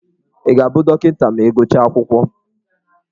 Ị ga-abụ dọkịta ma gụchaa akwụkwọ?